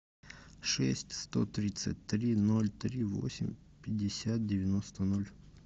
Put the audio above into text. шесть сто тридцать три ноль три восемь пятьдесят девяносто ноль